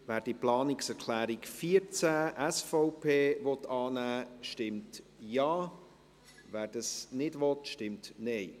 Wer die Planungserklärung 14 der SVP annehmen will, stimmt Ja, wer dies nicht will, stimmt Nein.